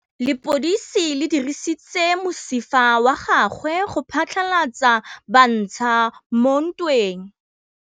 Lepodisa le dirisitse mosifa wa gagwe go phatlalatsa batšha mo ntweng.